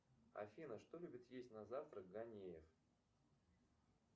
афина что любит есть на завтрак ганеев